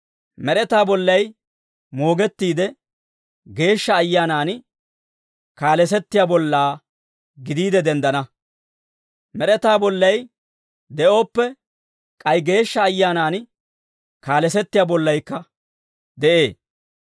Med'etaa bollay moogettiide, Geeshsha Ayyaanan kaalesettiyaa bollaa gidiide denddana. Med'etaa bollay de'ooppe, k'ay Geeshsha Ayyaanaan kaalesettiyaa bollaykka de'ee.